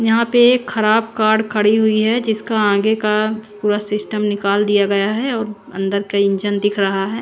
यहां पे एक खराब कार खड़ी हुई है जिसे आगे का पूरा सिस्टम निकाल दिया गया है और अंदर का इंजन दिख रहा है।